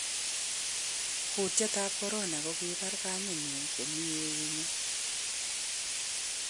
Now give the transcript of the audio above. Kutyet tab corona:Kokibar kamenyun komi eunyun.